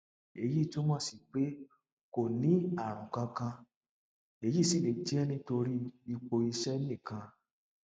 èyí túmọ sí pé kò ní àrùn kankan èyí sì lè jẹ nítorí ipò iṣẹ nìkan